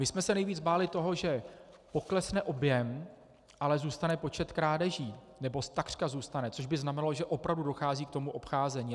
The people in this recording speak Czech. My jsme se nejvíc báli toho, že poklesne objem, ale zůstane počet krádeží, nebo takřka zůstane, což by znamenalo, že opravdu dochází k tomu obcházení.